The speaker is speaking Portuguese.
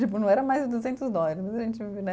Tipo, não era mais de duzentos dólares, né?